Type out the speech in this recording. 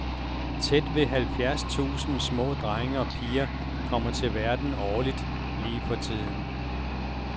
Tæt ved halvfjerds tusind små drenge og piger kommer til verden årligt lige for tiden.